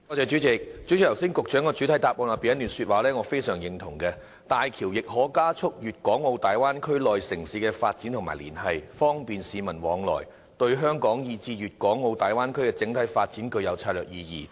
主席，局長剛才的主體答覆中，有一段說話我非常認同，"大橋亦可加速粵港澳大灣區內城市的經濟發展和連繫，方便市民往來，對香港以至粵港澳大灣區的整體發展具有策略意義"。